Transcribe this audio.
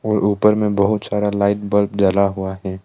और ऊपर में बहुत सारा लाइट बल्ब जला हुआ है।